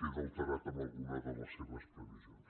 queda alterat en alguna de les seves previsions